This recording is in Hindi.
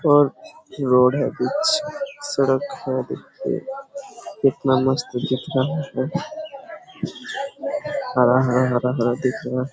और रोड है कुछ सड़क है इतना मस्त कितना हरा हरा हरा दिख रहा है।